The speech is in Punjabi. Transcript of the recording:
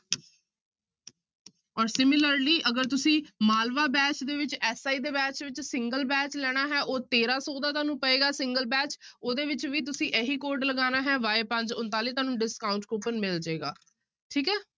ਔਰ similarly ਅਗਰ ਤੁਸੀਂ ਮਾਲਵਾ batch ਦੇ ਵਿੱਚ SI ਦੇ batch ਵਿੱਚ single batch ਲੈਣਾ ਹੈ ਉਹ ਤੇਰਾਂ ਸੌ ਦਾ ਤੁਹਾਨੂੰ ਪਏਗਾ single batch ਉਹਦੇ ਵਿੱਚ ਵੀ ਤੁਸੀਂ ਇਹੀ code ਲਗਾਉਣਾ ਹੈ y ਪੰਜ ਉਣਤਾਲੀ ਤੁਹਾਨੂੰ discount coupon ਮਿਲ ਜਾਏਗਾ, ਠੀਕ ਹੈ।